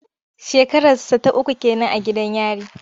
Shekararsa ta uku ke nan a gidan yari.